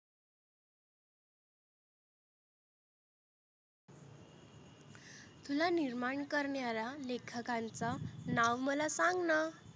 तुला निर्माण करण्याला लेखकांंचा नाव मला सांग ना.